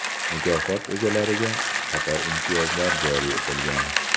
Mukofot egalariga qator imtiyozlar joriy etilgan.